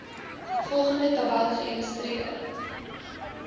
volgende tabel geïllustreer